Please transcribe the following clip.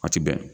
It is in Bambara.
A ti bɛn